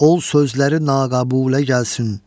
Ol sözləri naqabülə gəlsin.